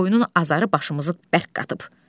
Qoyunun azarı başımızı bərk qatıb.